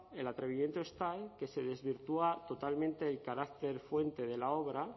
el atrevimiento es tal que se desvirtúa totalmente el carácter fuente de la obra